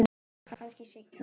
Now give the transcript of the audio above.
Kannski seinna.